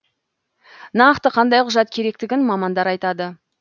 нақты қандай құжат керектігін мамандар айтады